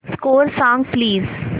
score सांग please